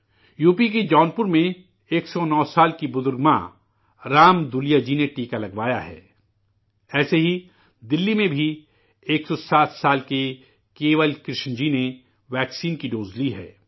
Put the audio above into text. UP کے جونپور میں 109 برس کی بزرگ ماں، رام دو لیا جی نے ٹیکہ لگوایا ہے، ایسے ہی، دلی میں بھی، 107 سال کے، کیول کرشن جی نےٹیکہ کی خوراک لی ہے